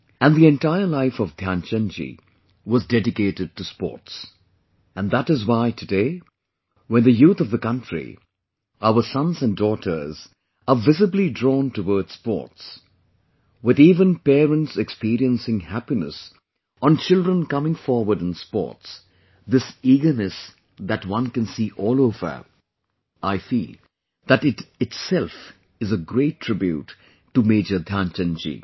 And the entire life of Dhyanchand ji was dedicated to Sports...and that is why today, when the youth of the country, our sons and daughters are visibly drawn towards sports, with even parents experiencing happiness on children coming forward in sports; this eagerness that one can see all over...I feel that itself is a great tribute to Major Dhyanchand ji